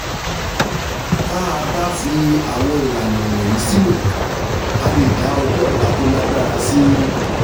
tá a bá fi àwọn ìlànà wọ̀nyí sílò a lè dá ọjọ́ ọ̀la tó lágbára sí